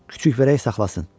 Kiçik vərək saxlasın.